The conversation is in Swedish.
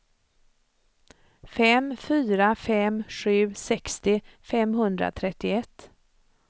fem fyra fem sju sextio femhundratrettioett